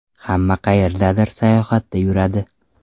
Hamma qayerdadir sayohatda yuradi.